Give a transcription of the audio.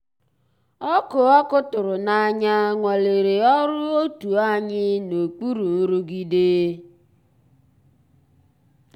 ọ́kụ́ ọ́kụ́ tụ̀rụ̀ n'ànyá nwàlérè ọ́rụ́ ótú ànyị́ n'òkpùrú nrụ̀gídé.